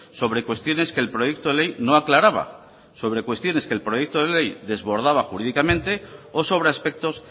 sobre cuestiones que el proyecto de ley no aclaraba sobre cuestiones que el proyecto de ley desbordaba jurídicamente o sobre aspectos